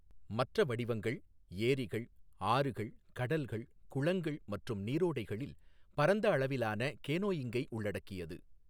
மற்ற வடிவங்கள், ஏரிகள், ஆறுகள், கடல்கள், குளங்கள் மற்றும் நீரோடைகளில் பரந்த அளவிலான கேனோயிங்கை உள்ளடக்கியது.